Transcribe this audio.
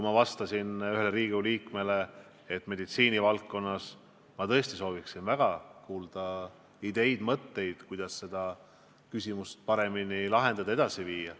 Ma kinnitasin ühele Riigikogu liikmele vastates, et meditsiinivaldkonnas ma tõesti soovin väga kuulda ideid-mõtteid, kuidas seda probleemi paremini lahendada ja asja edasi viia.